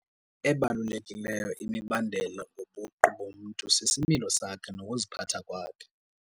Ebalulekileyo imibandela ngobuqu bomntu sisimilo sakhe nokuziphatha kwakhe.